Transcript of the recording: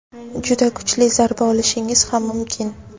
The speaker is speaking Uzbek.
juda kuchli zarba olishingiz ham mumkin.